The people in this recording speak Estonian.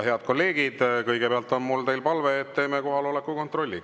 Head kolleegid, kõigepealt on mul teile palve, et teeme kohaloleku kontrolli.